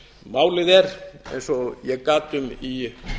málið er eins og ég gat um í